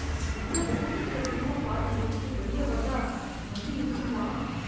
இவ்வளவு கூட்டத்துல சினிமா பார்த்து முடிச்சுட்டு வெளிய வந்தா வண்டி இருக்குமா.